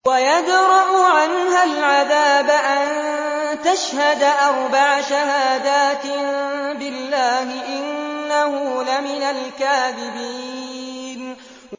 وَيَدْرَأُ عَنْهَا الْعَذَابَ أَن تَشْهَدَ أَرْبَعَ شَهَادَاتٍ بِاللَّهِ ۙ إِنَّهُ لَمِنَ الْكَاذِبِينَ